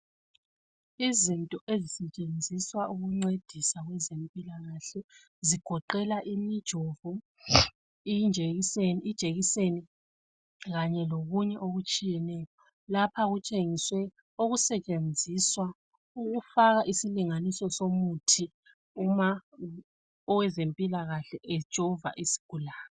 Izinto ezisetshenziswa okuncedisa kwezempilakahle zigoqela imijomo, ijekiseni kanye lokunye okutshiyetshiyeneyo lapha kutshengiswe okusetshenziswa ukufaka isilinganiso somuthi uma owezempilakahle ejova isigulane.